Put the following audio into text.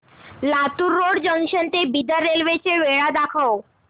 Latur road junction ते Bidar railway च्या वेळा दाखव